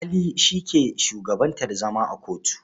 Alƙali shi ke shugabantar zama a kotu.